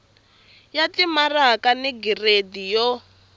ya timaraka ni giridi yo